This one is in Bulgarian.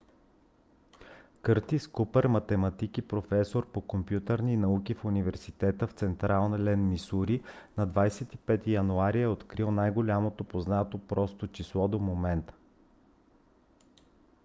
къртис купър математик и професор по компютърни науки в университета в централен мисури на 25 януари е открил най-голямото познато просто число до момента